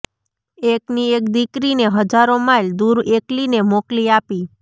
એકની એક દીકરીને હજારો માઈલ દૂર એકલીને મોકલી આપી